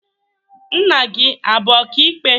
Nna gị abụ ọka ikpe?